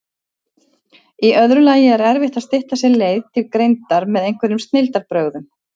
Í öðru lagi er erfitt að stytta sér leið til greindar með einhverjum snilldarbrögðum.